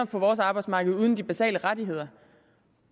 på vores arbejdsmarked uden de basale rettigheder